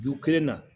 Ju kelen na